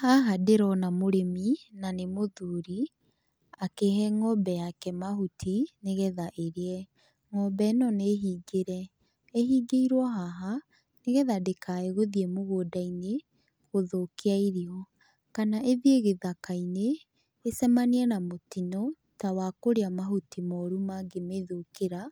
Haha ndĩrona mũrĩmi na nĩ mũthuri akĩhe ng'ombe yake mahuti nĩgetha ĩrĩe. Ng'ombe ĩno nĩ hingĩre, ĩhingĩirwo haha nĩgetha ndĩgathiĩ mũgũnda-inĩ gũthũkia irio kana ĩthiĩ gĩthaka-inĩ ĩcemanie na mũtino ta wa kũrĩa mahuti moru mangĩmĩthũkĩra